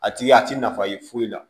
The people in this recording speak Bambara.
A tigi a ti nafa ye foyi la